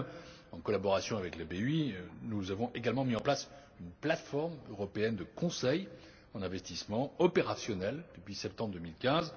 De même, en collaboration avec la BEI, nous avons également mis en place une plateforme européenne de conseil en investissement, opérationnelle depuis septembre 2015,